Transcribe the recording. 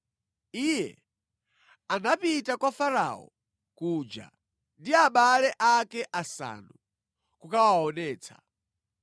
Iye anapita kwa Farao kuja ndi abale ake asanu, kukawaonetsa.